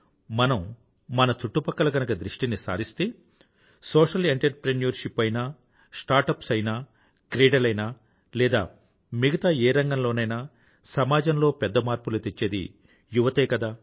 మనం మన చుట్టుపక్కల గనుక దృష్టిని సారిస్తే సోషియల్ ఎంటర్ప్రెన్యూర్షిప్ ఆయినా స్టార్టప్స్ అయినా క్రీడలైనా లేదా మిగతా ఏ రంగం లోనైనా సమాజంలో పెద్ద మార్పులు తెచ్చేది యువతే కదా